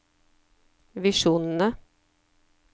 visjonene